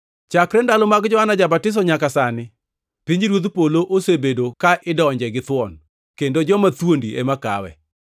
Chakre ndalo mag Johana ja-Batiso nyaka sani, pinyruodh polo osebedo ka idonje githuon, kendo joma thuondi ema kawe.